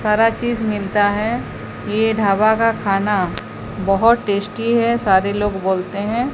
सारा चीज मिलता है ये ढाबा का खाना बहोत टेस्टी है सारे लोग बोलते हैं।